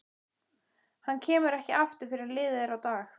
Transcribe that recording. Hann kemur ekki aftur fyrr en liðið er á dag.